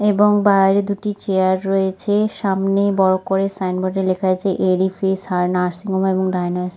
''এবং বাইরে দুটি চেয়ার রয়েছে'''' সামনে বড় করে সাইন বোর্ডে লেখা আছে এডিফিস আর নার্সিং হোম এন্ড ডায়ানস --''